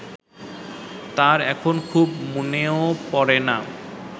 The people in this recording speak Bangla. তার এখন খুব মনেও পড়ে না